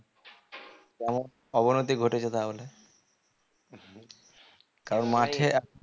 কেমন অবনতি ঘটেছে তাহলে